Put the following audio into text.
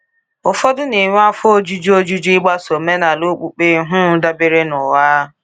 Ụfọdụ na-enwe afọ ojuju ojuju ịgbaso omenala okpukpe um dabere n’ụgha.